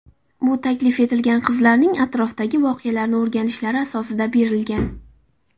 Bu taklif qizlarning atrofdagi voqealarni o‘rganishlari asosida berilgan.